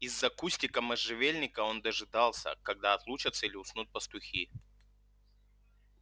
из-за кустика можжевельника он дожидался когда отлучатся или уснут пастухи